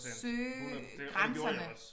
Søge grænserne